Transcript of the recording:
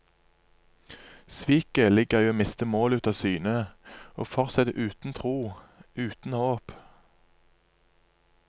Sviket ligger i å miste målet av syne, å fortsette uten tro, uten håp.